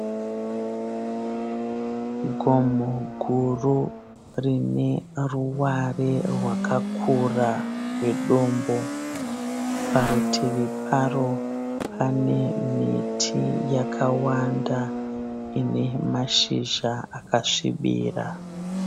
Gomo guru rine ruware rwakakura rwedombo. Parutivi paro pane miti yakawanda ine mashizha akasvibira.